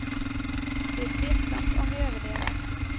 Det är tveksamt om vi överlever.